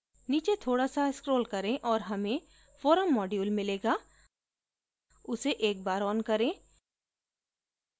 नीचे थोडा सा scroll करें और हमें forum module मिलेगा उसे एक बार on करें